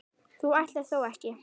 þú ætlar þó ekki.